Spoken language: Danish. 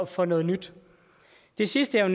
for noget nyt det sidste jeg